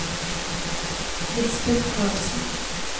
Lisbeth Carlsen